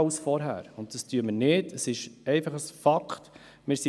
So wird Sparen auch allgemein verstanden.